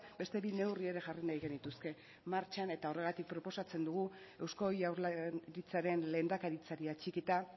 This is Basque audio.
beste bi neurri ere jarri nahiko genituzke martxan horregatik proposatzen dugu eusko jaurlaritzaren lehendakaritzari atxikita